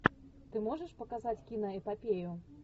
ты можешь показать киноэпопею